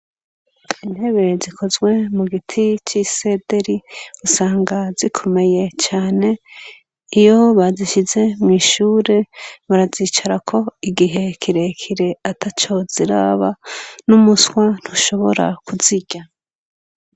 Intebe zikozwe mu giti c'isederi usanga zikomeye cane ,iyo bazishize mw’ishure barazicarako igihe kirekire ataco ziraba n'umuswa ntushobora kuzirya.